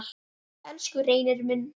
Elsku Reynir minn.